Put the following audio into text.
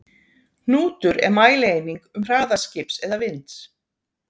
Hnútur er mælieining um hraða skips eða vinds.